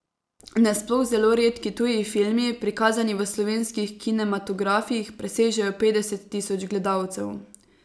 Nasploh zelo redki tuji filmi, prikazani v slovenskih kinematografih, presežejo petdeset tisoč gledalcev.